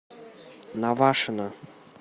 навашино